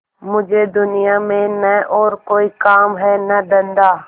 मुझे दुनिया में न और कोई काम है न धंधा